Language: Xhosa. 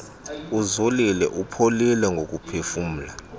uzolile upholile ngokuphefumla